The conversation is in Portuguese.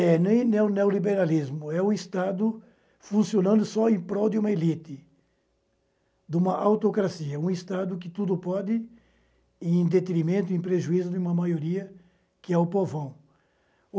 É nem o neo neoliberalismo, é o Estado funcionando só em prol de uma elite, de uma autocracia, um Estado que tudo pode em detrimento, em prejuízo de uma maioria que é o povão.